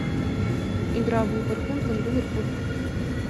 игра вулверхэмптон ливерпуль